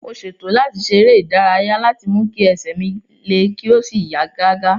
mo ṣètò láti ṣe eré ìdárayá láti mú kí ẹsẹ̀ mi le kí ó sì yá gágá